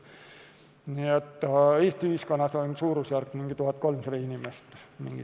Nii et Eesti ühiskonnas on suurusjärk 1300 inimest.